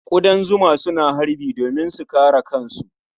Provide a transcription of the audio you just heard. Ƙudan zuma suna harbi domin su kare kansu.